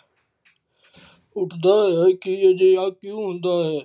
ਉੱਠਦਾ ਹੈ ਕਿ ਅਜਿਹਾ ਕਿਉਂ ਹੁੰਦਾ ਹੈ।